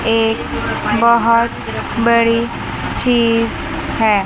एक बहोत बड़ी चीज है।